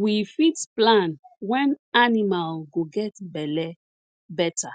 we fit plan wen animal go get belle better